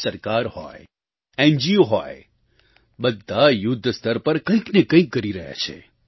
સરકાર હોય એનજીઓ હોય બધાં યુદ્ધસ્તર પર કંઈક ને કંઈક કરી રહ્યાં છે